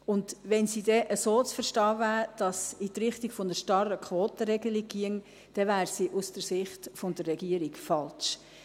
Und wenn sie denn so zu verstehen wäre, dass sie in die Richtung einer starren Quotenregelung ginge, dann wäre sie aus der Sicht der Regierung falsch.